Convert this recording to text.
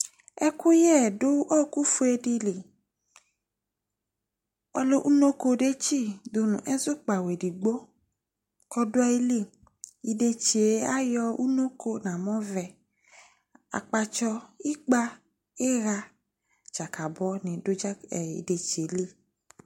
ekuye du okufoedili ole ounoko detsi nu ezukpao ezukpao edigbo oduayilii idetsie ayo ounoko okpatso ikpa iha djakabo nidu idetsie li